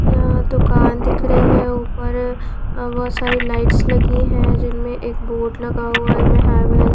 यहां दुकान दिख रही है ऊपर बहुत सारी लाइट्स लगी हैं जिनमें एक बोर्ड लगा हुआ है में --